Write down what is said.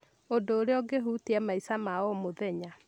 ũndũ ũrĩa ũngĩhutia maica ma o mũthenya.